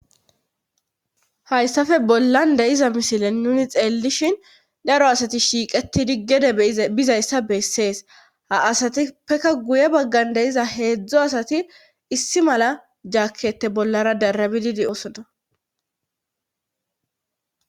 hayssafe bollan deiza misilen nuni xeellishin daro asati shiiqeti diggede bizayssa bessees ha asatipekka guye baggan deiza heedzdzo asati issi mala jaakkette bollara darabididi osona